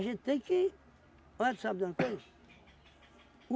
gente tem que... Olha, tu sabe de uma coisa?